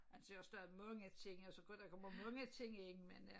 Altså jeg har stadig mange ting altså der kommer mange ting ind men øh